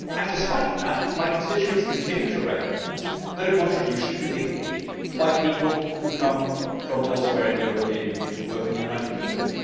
Despite that, my constituents continue to recognise that a contribution can be made by people who come from elsewhere in the European Union to work in the United Kingdom.